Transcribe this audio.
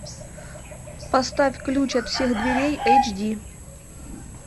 поставь ключ от всех дверей эйч ди